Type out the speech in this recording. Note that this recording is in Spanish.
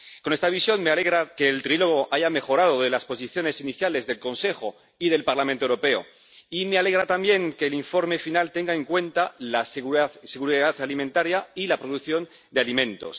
Con esta visión, me alegra que el trílogo haya mejorado desde las posiciones iniciales del Consejo y del Parlamento Europeo, y me alegra también que el informe final tenga en cuenta la seguridad alimentaria y la producción de alimentos.